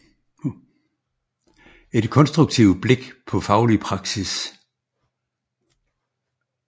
Et konstruktivt blik på faglig praksis